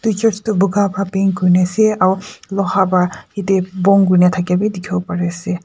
Church toh buga pra paint kuri na ase aro loha pra yate bon kurina thaka bi dekhi bo pari ase.